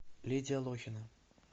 лидия лохина